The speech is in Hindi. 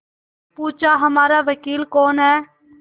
पूछाहमारा वकील कौन है